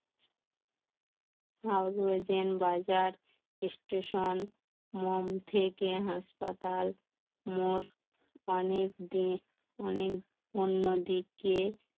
বাজার স্টেশন মোম থেকে হাসপাতাল মোর অনেক দিক অনেক অন্যদিক